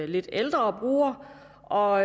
lidt ældre brugere og